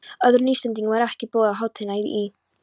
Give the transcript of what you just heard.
Öðrum Íslendingum er ekki boðið á hátíðina í